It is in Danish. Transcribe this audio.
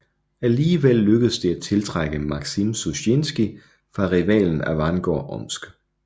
Alligevel lykkedes det at tiltrække Maksim Susjinskij fra rivalen Avangard Omsk